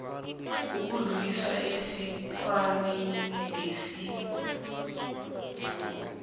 kudluliselwa esikhwameni sengeniso